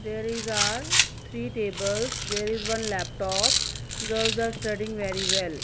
there is our three tables there is one laptop girls are studying very well.